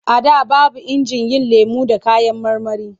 A da babu injin yin lemo da kayan marmari.